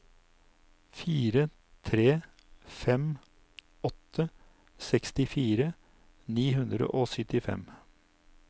fire tre fem åtte sekstifire ni hundre og syttifem